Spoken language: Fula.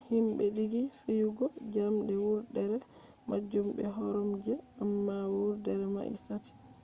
himme dingi fiyugo jamde wurdere majum be koromje amma wurdere mai sati